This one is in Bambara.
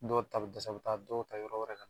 Dɔw ta bɛ dɛsɛ o bɛ taa dɔw ta yɔrɔ wɛrɛ ka na.